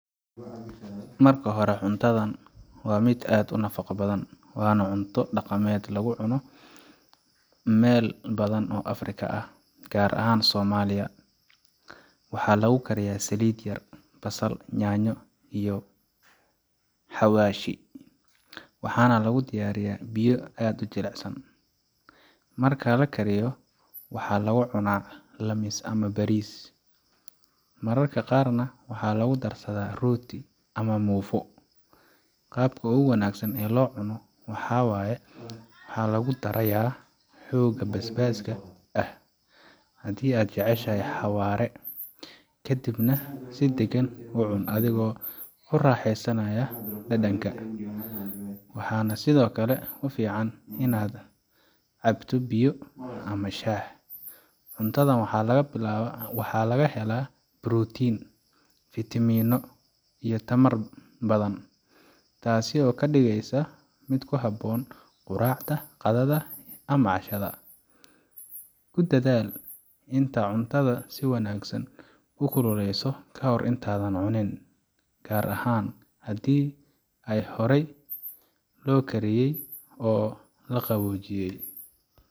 Marka hore, cuntadan waa mid aad u nafaqo badan, waana cunto dhaqameed laga cuno meelo badan oo Afrika ah, gaar ahaan Soomaaliya. Waxaa lagu kariyaa saliid yar, basal, yaanyo, iyo xawaash, waxaana lagu darayaa biyo si ay u jilcsaan. Marka la kariyo, waxaa lagu cunaa laamiis ama bariis, mararka qaarna waxaa lagu darsadaa rooti ama muufo. Qaabka ugu wanaagsan ee loo cuno waxaa waye waxaa lagu daraya xoogaa basbaaska ah haddii aad jeceshahay xawaare, kadibna si deggan u cun adigoo ku raaxaysanaya dhadhanka. Waxaa sidoo kale fiican inaad la cabto biyo ama shaah. Cuntadan waxaa laga helaa borotiin, fiitamiino, iyo tamar badan, taas oo ka dhigaysa mid ku habboon quraacda, qadada, ama cashada. Ku dadaal inaad cuntada si wanaagsan u kululeyso kahor intaadan cunin, gaar ahaan haddii ay horay loo kariyey oo la qaboojiyey.